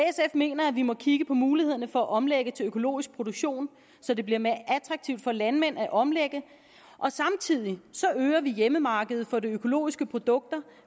mener at vi må kigge på mulighederne for at omlægge til økologisk produktion så det bliver mere attraktivt for landmænd at omlægge og samtidig øger vi hjemmemarkedet for de økologiske produkter